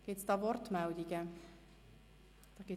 Gibt es Wortmeldungen hierzu?